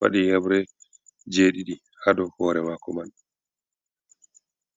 wadi hebre jedidi hado hore mako man.